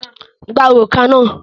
Gba òrùka náà!